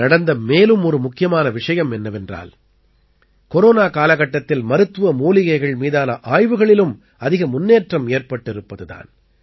நடந்த மேலும் ஒரு முக்கியமான விஷயம் என்னவென்றால் கொரோனா காலகட்டத்தில் மருத்துவ மூலிகைகள் மீதான ஆய்வுகளிலும் அதிக முன்னேற்றம் ஏற்பட்டிருப்பது தான்